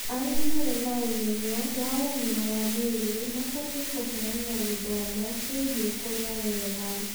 Arĩa marĩ na ũmenyo wa ũgima wa mwĩrĩ mabatie kũheana gĩthomo kĩgie kũrĩa wega